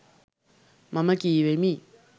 මම කීවෙමි.